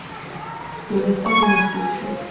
доставь мне суши